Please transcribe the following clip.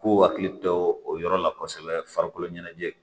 K'u hakili to o yɔrɔ la kosɛbɛ farikolo ɲɛnajɛ